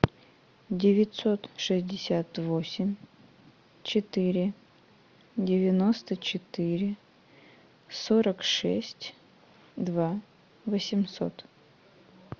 девятьсот шестьдесят восемь четыре девяносто четыре сорок шесть два восемьсот